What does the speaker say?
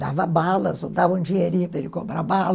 Dava balas, ou davam dinheirinha para ele cobrar bala.